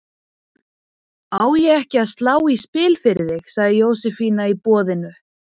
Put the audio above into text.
Á ég ekki að slá í spil fyrir þig? sagði Jósefína í boðinu.